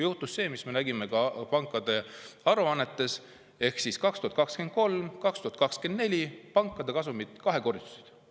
Juhtus see, mida me nägime ka pankade aruannetes: 2023 ja 2024 pankade kasumid kahekordistusid.